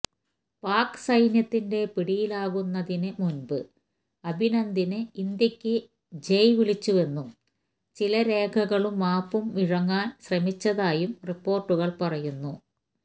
പാക് സൈന്യത്തിന്റ പിടിയിലാകുന്നതിന് മുമ്പ് അഭിനന്ദന് ഇന്ത്യയ്ക്ക് ജയ് വിളിച്ചുവെന്നും ചില രേഖകളും മാപ്പും വിഴുങ്ങാന് ശ്രമിച്ചതായും റിപ്പോര്ട്ടുകള് പറയുന്നു